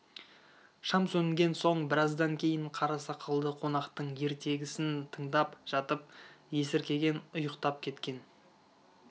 шам сөнген соң біраздан кейін қара сақалды қонақтың ертегісін тыңдап жатып есіркеген ұйықтап кеткен